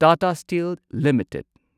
Tata steel limited